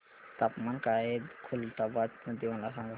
तापमान काय आहे खुलताबाद मध्ये मला सांगा